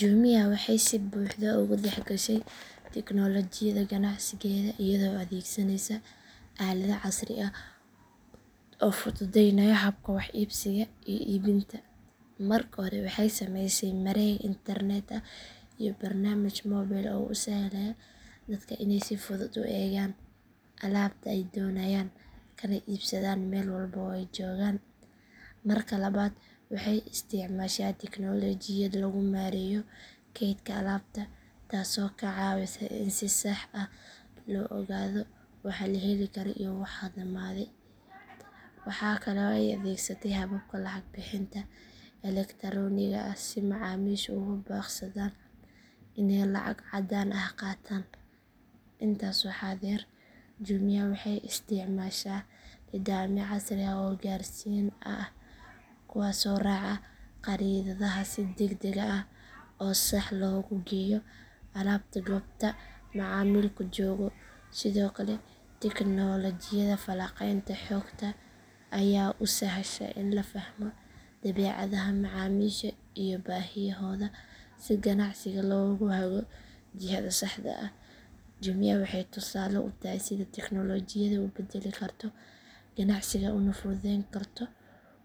Jumia waxay si buuxda ugu dhexgashay tiknoolajiyada ganacsigeeda iyadoo adeegsanaysa aalado casri ah oo fududeynaya habka wax iibsiga iyo iibinta. Marka hore waxay samaysay mareeg internet ah iyo barnaamij moobil oo u sahlaya dadka inay si fudud u eegaan alaabta ay doonayaan kana iibsadaan meel walba oo ay joogaan. Marka labaad waxay isticmaashaa tiknoolajiyad lagu maareeyo kaydka alaabta taasoo ka caawisa in si sax ah loo ogaado waxa la heli karo iyo waxa dhamaaday. Waxaa kale oo ay adeegsatay hababka lacag bixinta elektaroonigga ah si macaamiishu uga baaqsadaan inay lacag caddaan ah qaataan. Intaas waxaa dheer Jumia waxay isticmaashaa nidaamyo casri ah oo gaarsiin ah kuwaasoo raaca khariidadaha si degdeg ah oo sax ah loogu geeyo alaabta goobta macaamilku joogo. Sidoo kale tiknoolajiyada falanqaynta xogta ayaa u sahasha in la fahmo dabeecadaha macaamiisha iyo baahiyahooda si ganacsiga loogu hago jihada saxda ah. Jumia waxay tusaale u tahay sida tiknoolajiyadu u beddeli karto ganacsiga una fududeyn karto